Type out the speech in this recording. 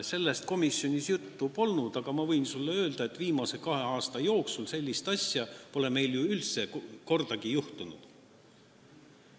Sellest komisjonis juttu polnud, aga ma võin sulle öelda, et viimase kahe aasta jooksul pole sellist asja meil ju kordagi juhtunud.